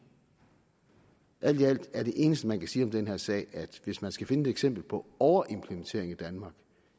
alt i alt er det eneste man kan sige om den her sag hvis man skal finde et eksempel på overimplementering i danmark